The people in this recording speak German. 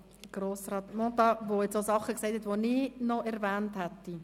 Er hat jetzt Dinge gesagt hat, die ich auch noch erwähnt hätte.